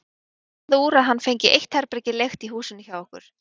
Það varð úr að hann fengi eitt herbergi leigt í húsinu hjá okkur.